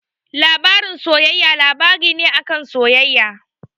Labarin soyayya labari ne a kan soyayya.